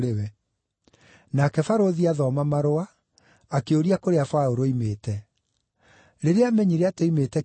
Nake barũthi aathoma marũa, akĩũria kũrĩa Paũlũ oimĩte. Rĩrĩa aamenyire atĩ oimĩte Kilikia,